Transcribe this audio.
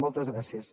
moltes gràcies